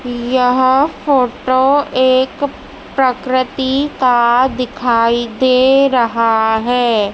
यह फोटो एक प्रक्रति का दिखाई दे रहा है।